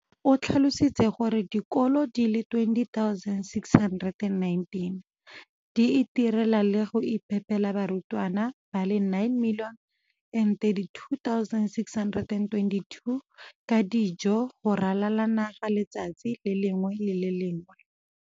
O tlhalositse gore dikolo di le 20 619 di itirela le go iphepela barutwana ba le 9 032 622 ka dijo go ralala naga letsatsi le lengwe le le lengwe.